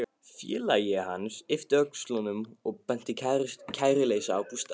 Félagi hans yppti öxlum og benti kæruleysislega á bústaðinn.